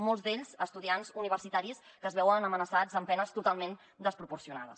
molts d’ells estudiants universitaris que es veuen amenaçats amb penes totalment desproporcionades